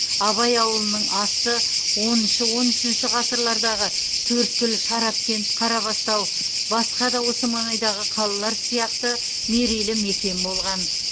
абай ауылының асты оныншы он үшінші ғасырлардағы төрткүл шарапкент қарабастау басқа да осы маңайдағы қалалар сияқты мерейлі мекен болған